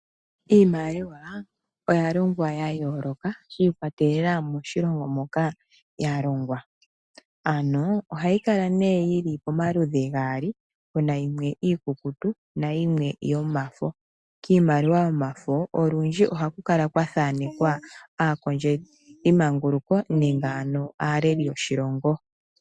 Iimaliwa oya longwa ya yooloka shi ikwatelela moshilongo moka ya longwa. Ano ohayi kala nee yi li pomaludhi ge li gaali pu na yimwe iikukutu nayimwe yomafo. Kiimaliwa yomafo olundji ohaku kala kwathanekwa aakondjelimanguluko nenge ano aaleli yoshilongo.